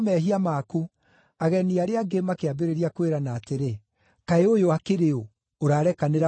Ageni arĩa angĩ makĩambĩrĩria kwĩrana atĩrĩ, “Kaĩ ũyũ akĩrĩ ũ, ũrarekanĩra o na mehia?”